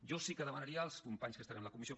jo sí que demanaria als companys que estan a la comissió